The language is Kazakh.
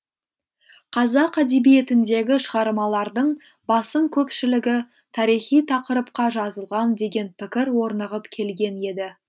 қазақ әдебиетіндегі шығармалардың басым көпшілігі тарихи тақырыпқа жазылған деген пікір орнығып келген еді